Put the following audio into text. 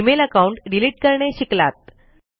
email account delete करणे शिकलात